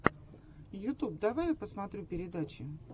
ютуб давай я посмотрю передачи